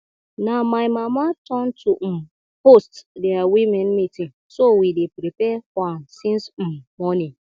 na my mama turn to um host their women meeting so we dey prepare for am since um morning